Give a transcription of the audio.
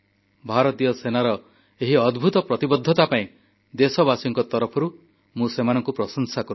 ଭାରତୀୟ ସେନାର ଏହି ଅଦ୍ଭୂତ ପ୍ରତିବଦ୍ଧତା ପାଇଁ ଦେଶବାସୀଙ୍କ ତରଫରୁ ମୁଁ ସେମାନଙ୍କୁ ପ୍ରଶଂସା କରୁଛି